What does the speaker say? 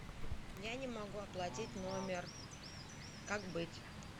я не могу оплатить номер как быть